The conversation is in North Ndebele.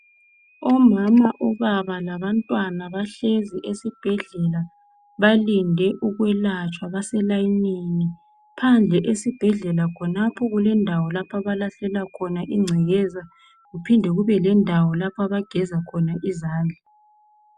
Omama labobaba labantwana bahlezi phansi elayinini balinde ukwelatshwa phandle esibhedlela khonapho kulendawo lapho okulahlelwa khona ingcekeza kuphinde kubelendawo lapho abageza khona izandla .